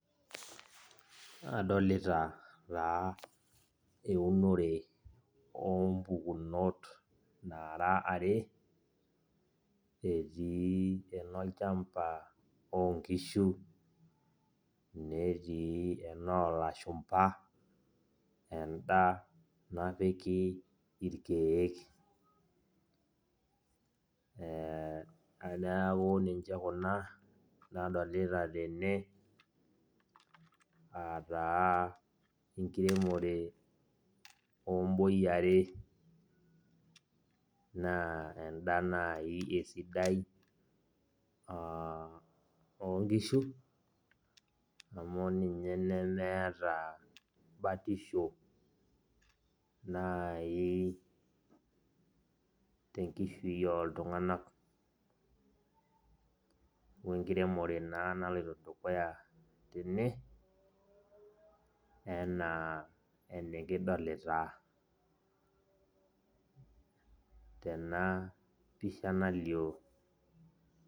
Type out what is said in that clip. Adolita taa eunore ompukunot naara are. Etii enolchamba onkishu, netii enoo lashumpa, enda napiki irkeek. Neeku ninche kuna, nadolita tene ataa enkiremore oboi are. Naa enda nai esidai, ah onkishu, amu ninye nemeeta batisho nai tenkishui oltung'anak. Wenkiremore naa naloito dukuya tene, enaa enikidolita tenapisha nalio.